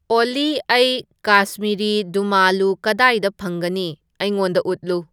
ꯑꯣꯜꯂꯤ ꯑꯩ ꯀꯥꯁꯃꯤꯔꯤ ꯗꯨꯃꯥꯂꯨ ꯀꯗꯥꯏꯗ ꯐꯪꯒꯅꯤ ꯑꯩꯉꯣꯟꯗ ꯎꯠꯂꯨ